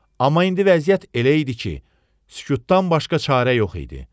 Amma indi vəziyyət elə idi ki, sükutdan başqa çarə yox idi.